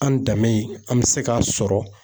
An danbe in, an mi se k'a sɔrɔ